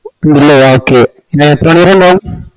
ഇല്ലേ okay ഇത് എത്രമണിവരുണ്ടവും